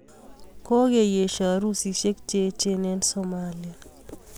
Ko kiesiaa arusisiek cheecheen ong somalia